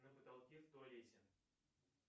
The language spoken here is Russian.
на потолке в туалете